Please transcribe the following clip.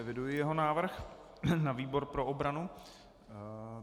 Eviduji jeho návrh na výbor pro obranu.